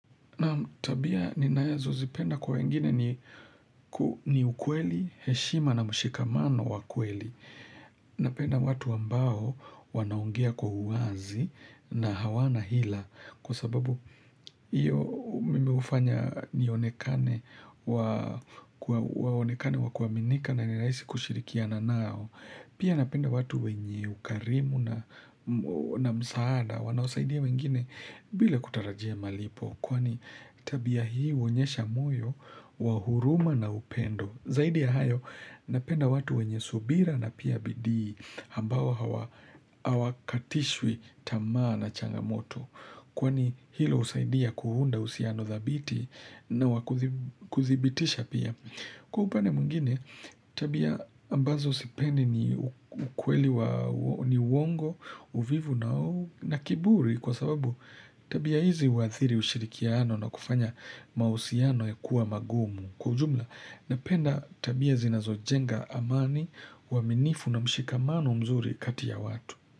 Tabia ninazo zipenda kwa wengine ni ku ni ukweli heshima na mshikamano wa kweli napenda watu ambao wanaongea kwa uwazi na hawana hila kwa sababu iyo mimi ufanya nionekane wa onekane wa kuaminika na ni rahisi kushirikiana nao pia napenda watu wenye ukarimu na msaada wanaosaidia wengine bila kutarajia malipo kwani tabia hii uonyesha moyo wa huruma na upendo zaidi ya hayo napenda watu wenye subira na pia bidii ambao hawakatishwi tamaa na changamoto kwani hilo husaidia kuhunda husiano thabiti na wakuthibitisha pia kwa upande mwingine tabia ambazo sipendi ni ukweli wa ni uongo uvivu na kiburi kwa sababu tabia hizi huathiri ushirikiano na kufanya mahusiano ya kuwa magumu kwa ujumla napenda tabia zinazojenga amani uaminifu na mshikamano mzuri kati ya watu.